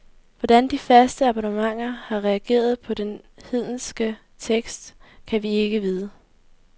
Hvordan de faste abonnenter har reageret på den hedenske tekst, kan vi ikke vide.